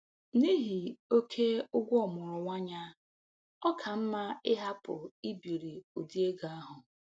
N'ihi oke ụgwọ ọmụrụ nwa ya, ọ ka mma ịhapụ ibiri ụdị ego ahụ.